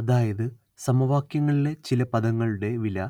അതായത് സമവാക്യങ്ങളിലെ ചില പദങ്ങളുടെ വില